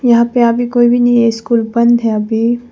यहां पे अभी कोई भी नहीं है स्कूल बंद है अभी।